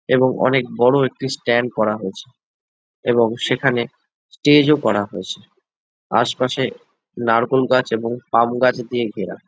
এবং অনেক বড়ো একটি স্ট্যান্ড করা হয়েছে এবং সেখানে স্টেজ -ও করা হয়েছে আশপাশে নারকোল গাছ ও পাম গাছে ঘেরা।